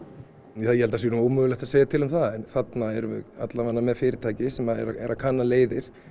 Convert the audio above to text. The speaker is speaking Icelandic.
ég held að það sé nú ómögulegt að segja til um það þarna erum við allavega með fyrirtæki sem er að kanna leiðir